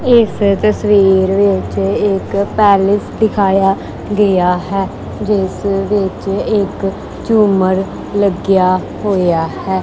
ਇਸ ਤਸਵੀਰ ਵਿੱਚ ਇੱਕ ਪੈਲਸ ਦਿਖਾਇਆ ਗਿਆ ਹੈ ਜਿਸ ਵਿੱਚ ਇੱਕ ਝੂਮਰ ਲੱਗਿਆ ਹੋਇਆ ਹੈ।